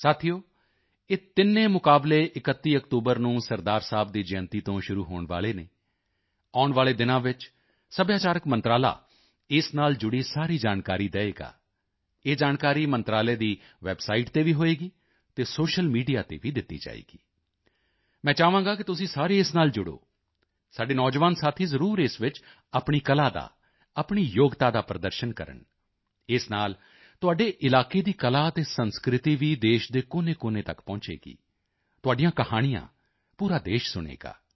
ਸਾਥੀਓ ਇਹ ਤਿੰਨੇ ਮੁਕਾਬਲੇ 31 ਅਕਤੂਬਰ ਨੂੰ ਸਰਦਾਰ ਸਾਹਿਬ ਦੀ ਜਯੰਤੀ ਤੋਂ ਸ਼ੁਰੂ ਹੋਣ ਵਾਲੇ ਹਨ ਆਉਣ ਵਾਲੇ ਦਿਨਾਂ ਵਿੱਚ ਸੱਭਿਆਚਾਰਕ ਮੰਤਰਾਲਾ ਇਸ ਨਾਲ ਜੁੜੀ ਸਾਰੀ ਜਾਣਕਾਰੀ ਦੇਵੇਗਾ ਇਹ ਜਾਣਕਾਰੀ ਮੰਤਰਾਲੇ ਦੀ ਵੈਬਸਾਈਟ ਤੇ ਵੀ ਹੋਵੇਗੀ ਅਤੇ ਸੋਸ਼ੀਅਲ ਮੀਡੀਆ ਤੇ ਵੀ ਦਿੱਤੀ ਜਾਵੇਗੀ ਮੈਂ ਚਾਹਾਂਗਾ ਕਿ ਤੁਸੀਂ ਸਾਰੇ ਇਸ ਨਾਲ ਜੁੜੋ ਸਾਡੇ ਨੌਜਵਾਨ ਸਾਥੀ ਜ਼ਰੂਰ ਇਸ ਵਿੱਚ ਆਪਣੀ ਕਲਾ ਦਾ ਆਪਣੀ ਯੋਗਤਾ ਦਾ ਪ੍ਰਦਰਸ਼ਨ ਕਰਨ ਇਸ ਨਾਲ ਤੁਹਾਡੇ ਇਲਾਕੇ ਦੀ ਕਲਾ ਅਤੇ ਸੰਸਕ੍ਰਿਤੀ ਵੀ ਦੇਸ਼ ਦੇ ਕੋਨੇਕੋਨੇ ਤੱਕ ਪਹੁੰਚੇਗੀ ਤੁਹਾਡੀਆਂ ਕਹਾਣੀਆਂ ਪੂਰਾ ਦੇਸ਼ ਸੁਣੇਗਾ